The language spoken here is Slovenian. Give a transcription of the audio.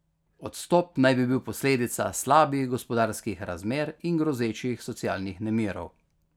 Odstop naj bi bil posledica slabih gospodarskih razmer in grozečih socialnih nemirov.